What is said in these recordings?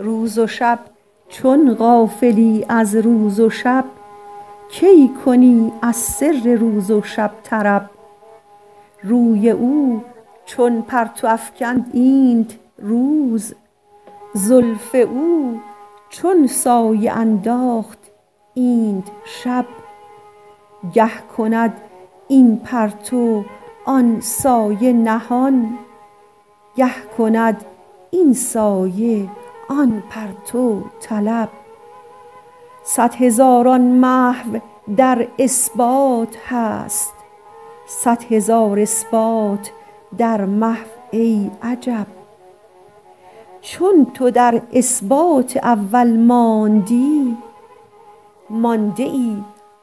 روز و شب چون غافلی از روز و شب کی کنی از سر روز و شب طرب روی او چون پرتو افکند اینت روز زلف او چون سایه انداخت اینت شب گه کند این پرتو آن سایه نهان گه کند این سایه آن پرتو طلب صد هزاران محو در اثبات هست صد هزار اثبات در محو ای عجب چون تو در اثبات اول مانده ای مانده ای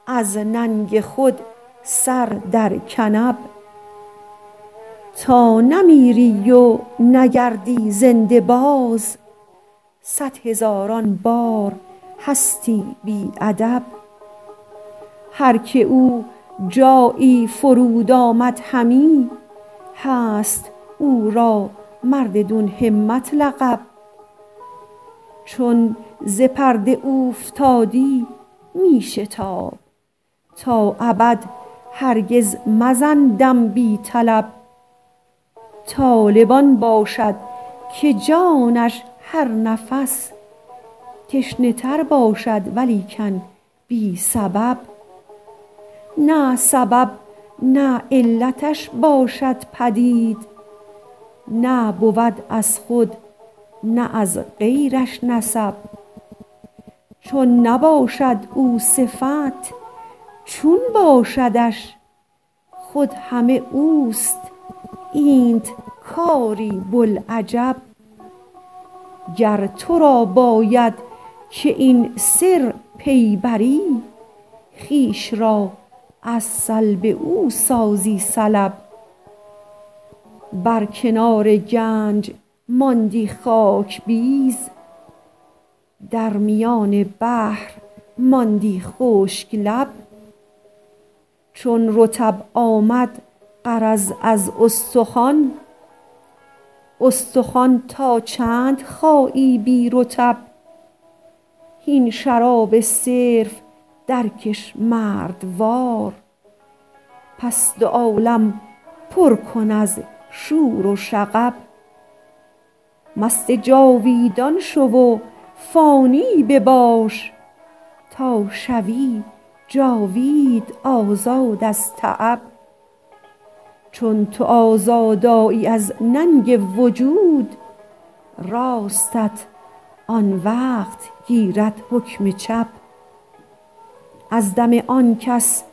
از ننگ خود سر در کنب تا نمیری و نگردی زنده باز صد هزاران بار هستی بی ادب هر که او جایی فرود آمد همی هست او را مرددون همت لقب چون ز پرده اوفتادی می شتاب تا ابد هرگز مزن دم بی طلب طالب آن باشد که جانش هر نفس تشنه تر باشد ولیکن بی سبب نه سبب نه علتش باشد پدید نه بود از خود نه از غیرش نسب چون نباشد او صفت چون باشدش خود همه اوست اینت کاری بوالعجب گر تو را باید که این سر پی بری خویش را از سلب او سازی سلب بر کنار گنج ماندی خاک بیز در میان بحر ماندی خشک لب چون رطب آمد غرض از استخوان استخوان تا چند خایی بی رطب هین شراب صرف درکش مردوار پس دو عالم پر کن از شور و شعب مست جاویدان شو و فانی بباش تا شوی جاوید آزاد از تعب چون تو آزاد آیی از ننگ وجود راستت آن وقت گیرد حکم چپ از دم آن کس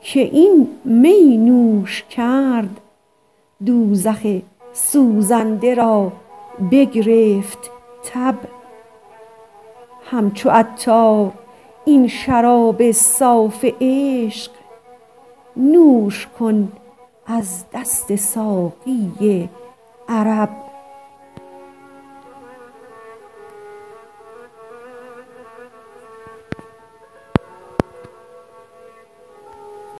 که این می نوش کرد دوزخ سوزنده را بگرفت تب همچو عطار این شراب صاف عشق نوش کن از دست ساقی عرب